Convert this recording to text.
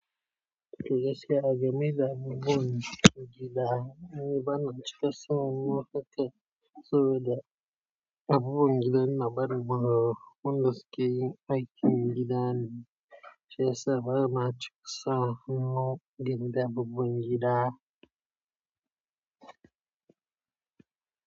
Tuh gaskiya ga me da abubuwan da yake damunmu. Ni bana cika sa hannu haka saboda abubuwan gidan na bari bugawa. Wanda sukeyin aikin gida ne. Shiyasa bana cika sa hannu gidan abubuwan gida.